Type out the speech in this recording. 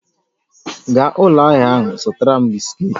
Gaa ụlọ ahịa ahụ zụtara m bisikiiti